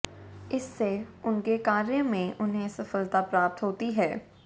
इससे उनके कार्य मॆ उन्हे सफलता प्राप्त होती है